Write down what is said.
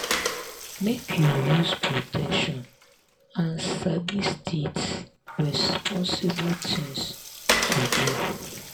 make you use protection and sabi stiits responsible things to do